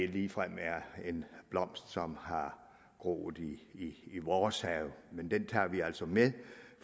ligefrem er en blomst som har groet i i vores have men det tager vi altså med